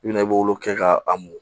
I bina i b'olu kɛ ka a mun